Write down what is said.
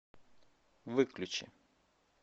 выключи